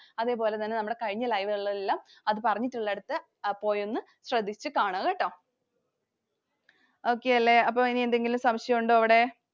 അതേപോലെ തന്നെ നമ്മുടെ കഴിഞ്ഞ live കളിലെല്ലാം അത് പറഞ്ഞിട്ടുള്ളിടത് പോയൊന്നു ശ്രദ്ധിച്ചു കാണുക ട്ടോ. Okay അല്ലെ. അപ്പൊ ഇനി എന്തെങ്കിലും സംശയം ഉണ്ടോ ഇവിടെ?